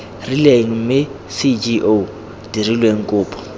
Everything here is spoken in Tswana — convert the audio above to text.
rileng mme cgo dirilwe kopo